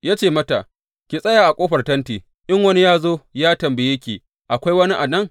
Ya ce mata, Ki tsaya a ƙofar tenti, in wani ya zo ya tambaye ki, Akwai wani a nan?’